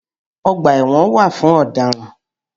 Ọ̀gbà ẹ̀wọ̀n wà fún ọ̀dáràn.